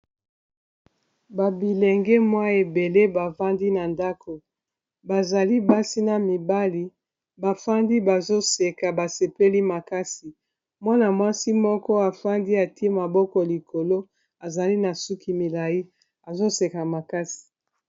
babilenge mwa ebele bafandi na ndako bazali basi na mibali bafandi bazoseka basepeli makasi mwana-mwasi moko afandi ate maboko likolo azali na suki milai azoseka makasi